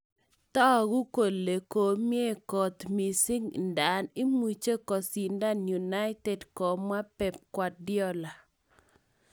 Togu kolemi komie kot missing nda imuche kosindan united komwa Pep Guardiola: